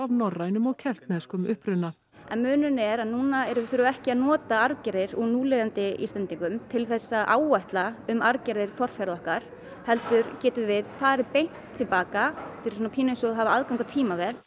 norrænum og keltneskum uppruna en munurinn er að núna þurfum við ekki að nota arfgerðir úr núlifandi Íslendingum til að áætla um arfgerðir forfeðra okkar heldur getum við farið beint til baka er svona pínu eins og að hafa aðgang að tímavél